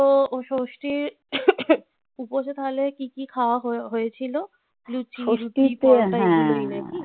ও ষষ্ঠীর উপোষে তাহলে কি কি খাওয়া হয়েছিল? লুচি.